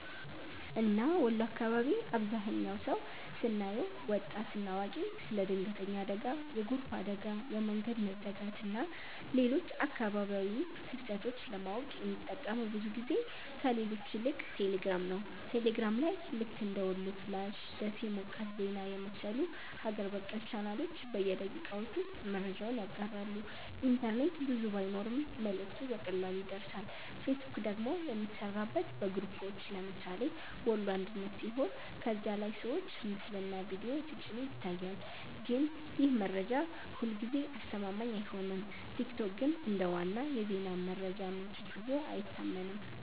እና ወሎ አካባቢ አብዛህኛው ሰው ስናየው( ወጣት እና አዋቂ) ስለ ድንገተኛ አደጋ፣ የጎርፍ አደጋ፣ የመንገድ መዘጋት ወይም ሌሎች አካባቢያዊ ክስተቶች ለማወቅ የሚጠቀመው ብዙ ጊዜ ከሌሎች ይልቅ ቴሌግራም ነው። ቴሌግራም ላይ ልክ እንደ "ወሎ ፍላሽ''፣ “ደሴ ሞቃት ዜና” የመሰሉ ሀገር በቀል ቻናሎች በደቂቃዎች ውስጥ መረጃውን ያጋራሉ፤ ኢንተርኔት ብዙ ባይኖርም መልእክቱ በቀላሉ ይደርሳል። ፌስቡክ ደግሞ የሚሠራበት በግሩፖች (ለምሳሌ “ወሎ አንድነት”) ሲሆን ከዚያ ላይ ሰዎች ምስልና ቪዲዮ ሲጭኑ ይታያል፣ ግን ይህ መረጃ ሁልጊዜ አስተማማኝ አይሆንም። ቲክቶክ ግን እንደ ዋና የዜና መረጃ ምንጭ ብዙ አይታመንም።